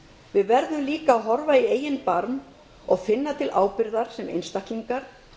við verðum líka að horfa í eigin barm og finna til ábyrgðar sem einstaklingar